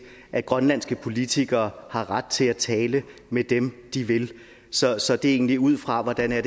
at grønlandske politikere har ret til at tale med dem de vil så så det er egentlig ud fra hvordan jeg